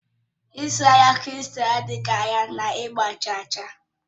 Ịzụ ahịa kripto adịghị anya na ịgba chaa chaa